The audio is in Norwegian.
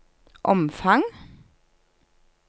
omfang